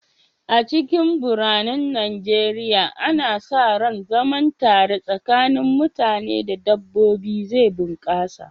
A cikin biranen Najeriya, ana sa ran zaman tare tsakanin mutane da dabbobi zai bunƙasa.